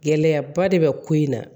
Gɛlɛyaba de bɛ ko in na